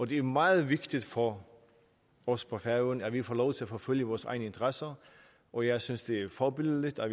det er meget vigtigt for os på færøerne at vi får lov til at forfølge vores egne interesser og jeg synes det er forbilledligt